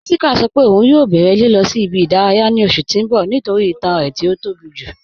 Jéṣíkà sọ́ pẹ̀ ọun yọ̀ bẹ̀rẹ̀ lilọ̀ sí ibi-idaraya ní oṣù tí n bọ̀ nítorí ìtàn rẹ̀ tó bí ju